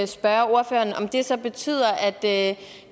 spørge ordføreren om det så betyder at